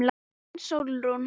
Þín, Sólrún.